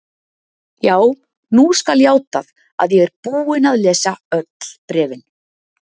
Já, nú skal játað að ég er búinn að lesa öll bréfin.